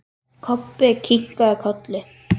Kobbi kinkaði kolli.